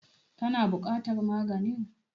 Ka na buƙatar maganin?